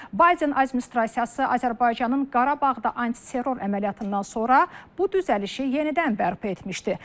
Bayden administrasiyası Azərbaycanın Qarabağda antiterror əməliyyatından sonra bu düzəlişi yenidən bərpa etmişdi.